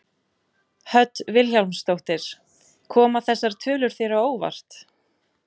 Hödd Vilhjálmsdóttir: Koma þessar tölur þér á óvart?